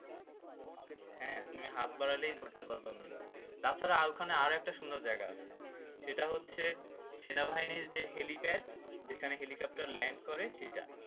হ্যাঁ তুমি হাত বাড়ালেই ধরতে পারবা মেঘ তাছাড়া আর ওখানে আরেকটা সুন্দর জায়গা আছে হ্যাঁ, সেটা হচ্ছে সেনাবাহিনীর যে helipad যেখানে helicopter land করে সেটা